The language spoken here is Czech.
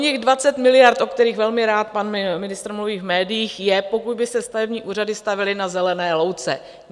Oněch 20 miliard, o kterých velmi rád pan ministr mluví v médiích, je, pokud by se stavební úřady stavěly na zelené louce.